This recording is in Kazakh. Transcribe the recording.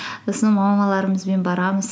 сосын мамаларымызбен барамыз